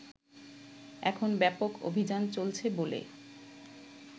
এখন ব্যাপক অভিযান চলছে বলে